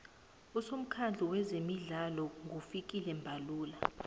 usomukhandlu weze midlalo ngufikile mbalula